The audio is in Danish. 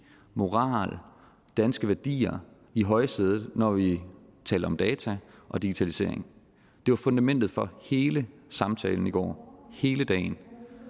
moral danske værdier i højsædet når vi taler om data og digitalisering det var fundamentet for hele samtalen i går hele dagen